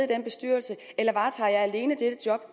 den bestyrelse eller varetager jeg alene dette job